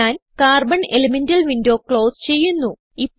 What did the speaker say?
ഞാൻ carbon elemental window close ചെയ്യുന്നു